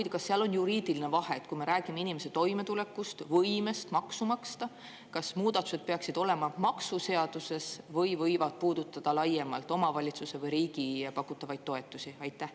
Ja kas seal on juriidiline vahe: kui me räägime inimese toimetulekust, võimest maksu maksta, kas muudatused peaksid olema maksuseaduses või võivad puudutada laiemalt omavalitsuse või riigi pakutavaid toetusi?